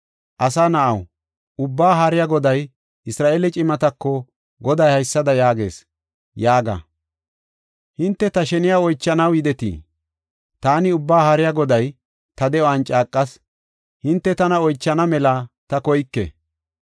“Asa na7aw, Ubbaa Haariya Goday, Isra7eele cimatako Goday haysada yaagees yaaga: ‘Hinte ta sheniya oychanaw yidetii? Taani Ubbaa Haariya Goday ta de7uwan caaqas: hinte tana oychana mela ta koyke.’